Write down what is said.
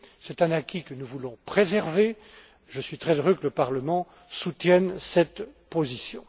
C'est un acquis que nous voulons préserver. Je suis très heureux que le Parlement soutienne cette position.